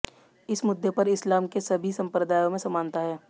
इस मुद्दे पर इस्लाम के सभी संप्रदायों में समानता है